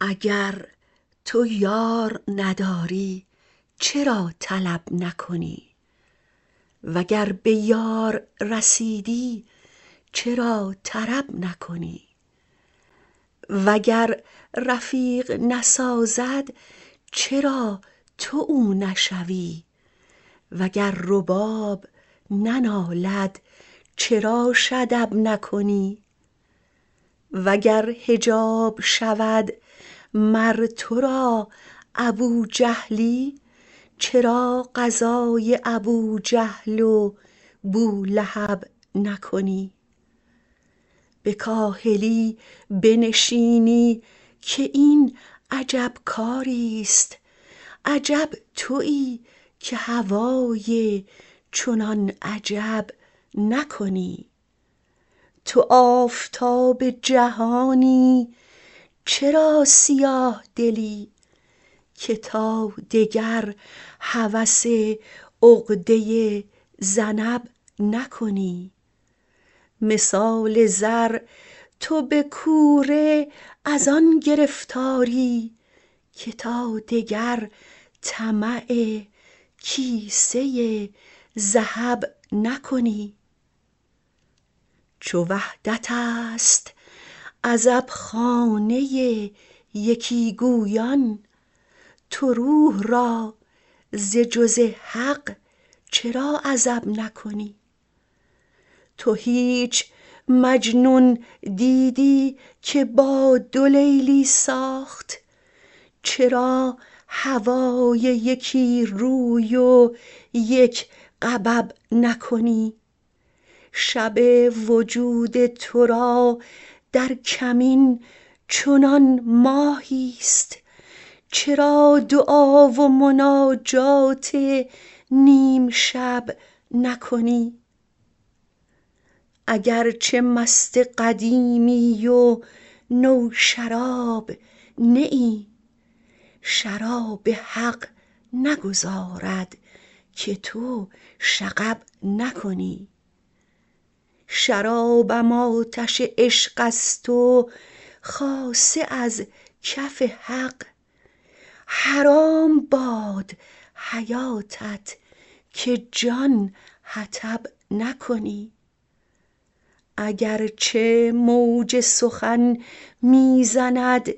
اگر تو یار نداری چرا طلب نکنی وگر به یار رسیدی چرا طرب نکنی وگر رفیق نسازد چرا تو او نشوی وگر رباب ننالد چراش ادب نکنی وگر حجاب شود مر تو را ابوجهلی چرا غزای ابوجهل و بولهب نکنی به کاهلی بنشینی که این عجب کاریست عجب توی که هوای چنان عجب نکنی تو آفتاب جهانی چرا سیاه دلی که تا دگر هوس عقده ذنب نکنی مثال زر تو به کوره از آن گرفتاری که تا دگر طمع کیسه ذهب نکنی چو وحدتست عزبخانه یکی گویان تو روح را ز جز حق چرا عزب نکنی تو هیچ مجنون دیدی که با دو لیلی ساخت چرا هوای یکی روی و یک غبب نکنی شب وجود تو را در کمین چنان ماهیست چرا دعا و مناجات نیم شب نکنی اگر چه مست قدیمی و نوشراب نه ای شراب حق نگذارد که تو شغب نکنی شرابم آتش عشقست و خاصه از کف حق حرام باد حیاتت که جان حطب نکنی اگر چه موج سخن می زند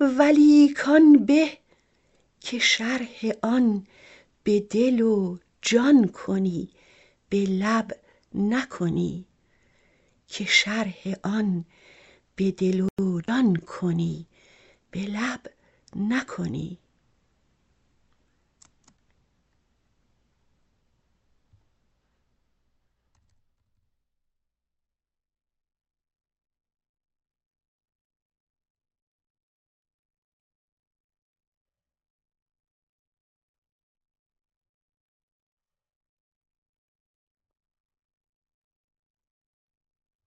ولیک آن به که شرح آن به دل و جان کنی به لب نکنی